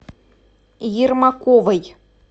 ермаковой